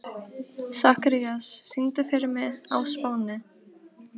Sakarías, syngdu fyrir mig „Á Spáni“.